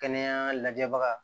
Kɛnɛya lajɛbaga